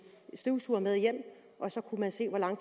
støvsuger med hjem og så kunne man se hvor lang